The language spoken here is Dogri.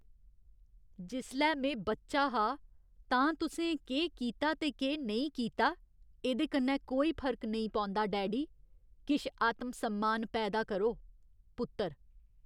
जिसलै में बच्चा हा तां तुसें केह् कीता ते केह् नेईं कीता, एह्दे कन्नै कोई फर्क नेईं पौंदा, डैडी। किश आत्म सम्मान पैदा करो! पुत्तर